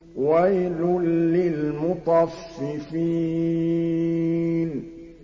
وَيْلٌ لِّلْمُطَفِّفِينَ